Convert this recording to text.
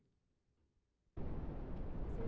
E você